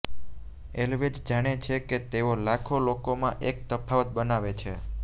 always જાણે છે કે તેઓ લાખો લોકોમાં એક તફાવત બનાવે છે